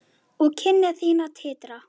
Og kinnar þínar titra.